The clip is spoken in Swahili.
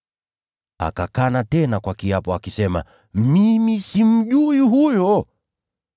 Akakana tena kwa kiapo akisema, “Mimi simjui huyo!”